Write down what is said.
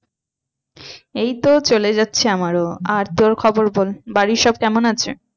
এই তো চলে যাচ্ছে আমারও আর তোর খবর বল বাড়ির সব কেমন আছে?